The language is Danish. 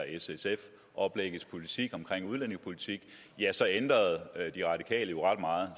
s sf oplægget omkring udlændingepolitikken så ændrede de radikale jo ret meget